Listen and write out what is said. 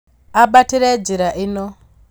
Ambatire njĩra ĩno